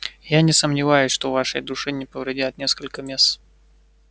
я не сомневаюсь что вашей душе не повредят несколько месс